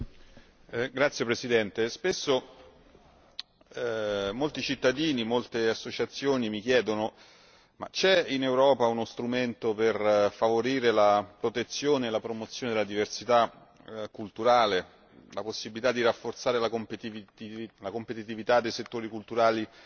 Signor Presidente, spesso molti cittadini e molte associazioni mi chiedono se ci sia in Europa uno strumento per favorire la protezione e la promozione della diversità culturale, la possibilità di rafforzare la competitività dei settori culturali